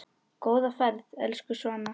Góða ferð, elsku Svana.